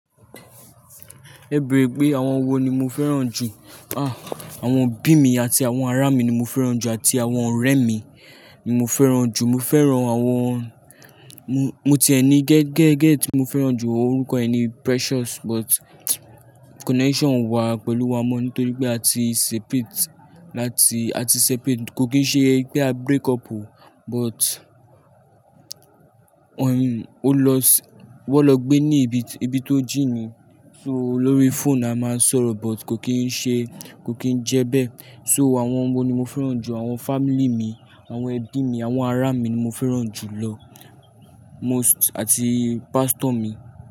Ẹ̀ bre gbé àwọn wo ni mo fẹ́ràn jù? Ah, àwọn òbí mi àti àwọn ará mi ni mo fẹ́ràn jù àti àwọn ọ̀rẹ́ mi ni mo fẹ́ràn jù. Mo fẹ́ràn àwọn-- mo, mo ti ẹni gẹ́gẹ́ gẹ́gẹ́ tí mo fẹ́ràn jù, orúkọ ẹni Precious but connection wá pẹ̀lú wa mọ́ nítorí pé a ti separate láti-- a ti separate kò kì í ṣe pé a break up o but, ohen, ó lọ s-- ó lọ gbé ní ibi, ibi tó jìn ní, so lórí phone a máa ń sọ̀rọ̀ but kò kì í ṣe, kò kì í jẹ́ bẹ́ẹ̀. So àwọn wo ni mo fẹ́ràn jù? Àwọn family mi, àwọn ẹbí mi, àwọn ará mi ni mo fẹ́ràn jù lọ most àti pastor mi.